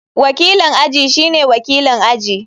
Wakilin aji shine wakilin aji.